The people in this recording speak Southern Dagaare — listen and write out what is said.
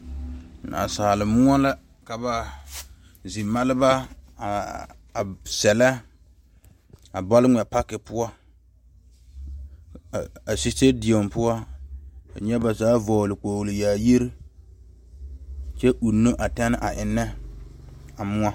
Naasaal moɔ la ka zimɛreba a sellɛ a bɔl mɛŋ pake poɔ a kyɛkyɛdiɛ poɔ nyɛ ba zaa vɔgle kpol yaayire kyɛ uuno a tɛnee a eŋee.